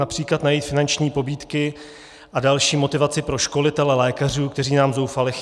Například najít finanční pobídky a další motivaci pro školitele lékařů, kteří nám zoufale chybí.